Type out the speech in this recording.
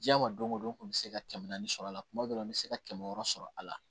Diɲɛ ma don o don n kun bɛ se ka kɛmɛ naani sɔrɔ a la kuma dɔ la n bɛ se ka kɛmɛ wɔɔrɔ sɔrɔ a la